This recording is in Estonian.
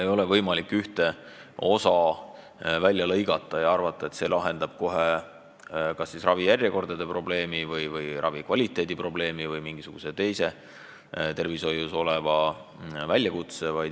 Ei ole võimalik ühte osa välja lõigata ja arvata, et see lahendab kohe kas ravijärjekordade probleemi või ravikvaliteedi probleemi või mingisuguse teise tervishoius oleva väljakutse.